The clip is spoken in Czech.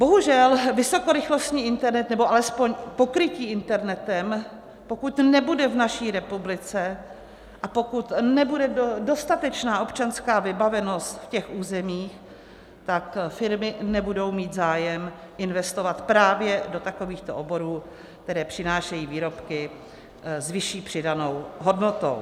Bohužel vysokorychlostní internet, nebo alespoň pokrytí internetem, pokud nebude v naší republice a pokud nebude dostatečná občanská vybavenost v těch územích, tak firmy nebudou mít zájem investovat právě do takovýchto oborů, které přinášejí výrobky s vyšší přidanou hodnotou.